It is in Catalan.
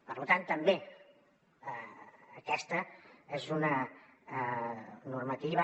per tant també aquesta és una normativa